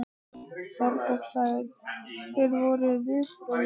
Þorbjörn: Hver voru viðbrögðin?